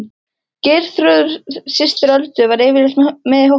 Geirþrúður systir Öldu var yfirleitt með í hópnum.